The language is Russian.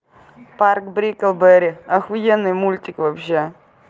парк бриклберри ахуенный мультик вообще